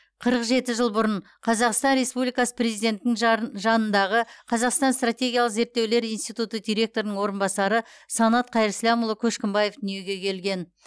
қырық жеті жыл бұрын қазақстан республикасы президентінің жа жанындағы қазақстан стратегиялық зерттеулер институты директорының орынбасары санат қайырсламұлы көшкімбаев дүниеге келген